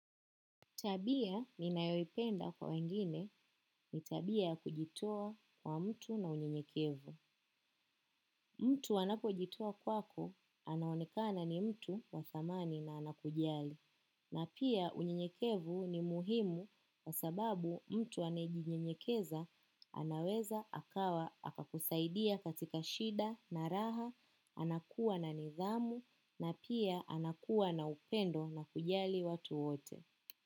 Tabia ninayoipenda kwa wengine ni tabia ya kujitoa kwa mtu na unyekevu. Mtu anapojitoa kwako anaonekana ni mtu wa thamani na anakujali. Na pia unyekevu ni muhimu wa sababu mtu anayejinyenyekeza anaweza akakusaidia katika shida na raha, anakuwa na nidhamu na pia anakuwa na upendo na kujali watu wote.